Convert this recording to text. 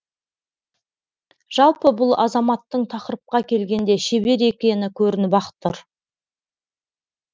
жалпы бұл азаматтың тақырыпқа келгенде шебер екені көрініп ақ тұр